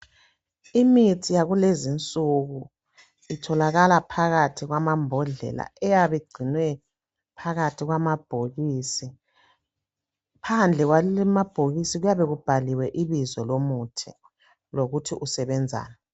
Imithi yakulezinsuku itholakala phakathi kwama mbodlela eyabe igcinwe phakathi kwama bhokisi, phandle kwebhokisi kuyabe kubhaliwe ibizo lomuthi lokuthi usebenzani.